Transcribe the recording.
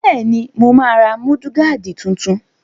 Bẹ́ẹ̀ni, mo máa ra múdúgáàdì tuntun